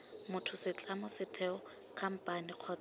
motho setlamo setheo khamphane kgotsa